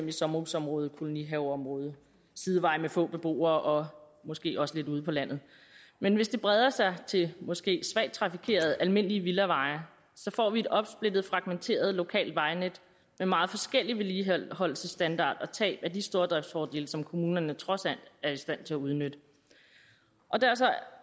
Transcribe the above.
i sommerhusområder kolonihaveområder sideveje med få beboere og måske også lidt ude på landet men hvis det breder sig til måske svagt trafikerede almindelige villaveje får vi et opsplittet fragmenteret lokalt vejnet med meget forskellig vedligeholdelsesstandard og tab af de stordriftsfordele som kommunerne trods alt er i stand til at udnytte